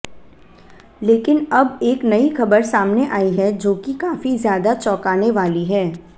लेकिन अब एक नई खबर सामने आई है जो कि काफी ज्यादा चौकाने वाली है